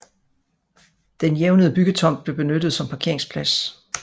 Den jævnede byggetomt blev benyttet som parkeringsplads